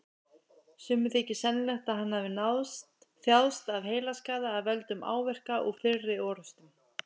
Sumum þykir sennilegt að hann hafi þjáðst af heilaskaða af völdum áverka úr fyrri orrustum.